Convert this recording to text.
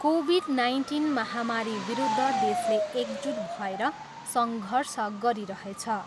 Covid nineteen महामारीविरुद्ध देशले एकजुट भएर सङ्घर्ष गरिरहेछ।